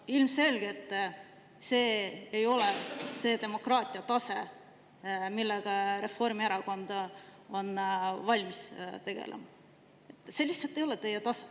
Ilmselgelt ei ole see selline demokraatia tase, millega Reformierakond on valmis tegelema, see lihtsalt ei ole teie tase.